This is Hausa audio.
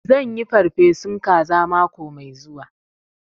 Zan yi farfesun kaza mako mai zuwa